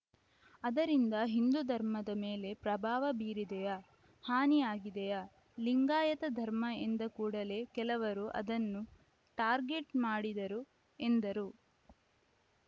ಅದರಿಂದ ಹಿಂದು ಧರ್ಮದ ಮೇಲೆ ಪ್ರಭಾವ ಬೀರಿದೆಯಾ ಹಾನಿ ಆಗಿದೆಯಾ ಲಿಂಗಾಯತ ಧರ್ಮ ಎಂದ ಕೂಡಲೇ ಕೆಲವರು ಅದನ್ನು ಟಾರ್ಗೆಟ್‌ ಮಾಡಿದರು ಎಂದರು